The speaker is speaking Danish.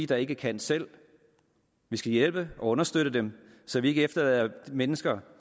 der ikke kan selv vi skal hjælpe og understøtte dem så vi ikke efterlader mennesker